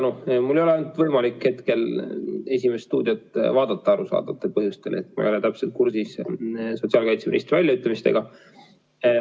Mul ei ole arusaadavatel põhjustel võimalik hetkel "Esimest stuudiot" vaadata, nii et ma ei ole täpselt kursis sotsiaalkaitseministri väljaütlemistega.